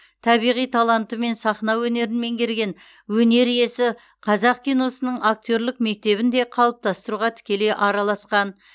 табиғи талантымен сахна өнерін меңгерген өнер иесі қазақ киносының актерлік мектебін де қалыптастыруға тікелей араласқан